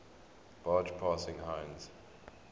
barge passing heinz